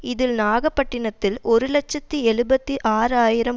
இதில் நாகப்பட்டினத்தில் ஒரு இலட்சத்தி எழுபத்தி ஆறு ஆயிரம்